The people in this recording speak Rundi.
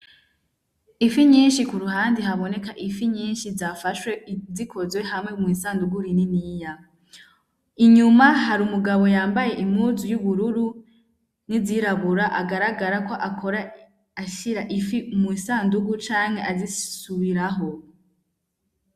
Ifi nyinshi, kuruhande hakoneka ifi nyinshi zafashwe zikuze hamwe mw'isandugu rininiya inyuma hari umugabo yambaye impuzu y'ubururu n'izirabura agaragara ko akora ashira ifi mw'isandugu canke azisubiraho.